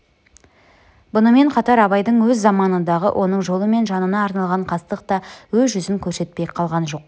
бұнымен қатар абайдың өз заманындағы оның жолы мен жанына арналған қастық та өз жүзін көрсетпей қалған жоқ